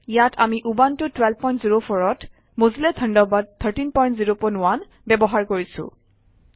ইয়াত আমি উবুনটো 1204 অত মজিল্লা থাণ্ডাৰবাৰ্ড 1301 ব্যৱহাৰ কৰিছোঁ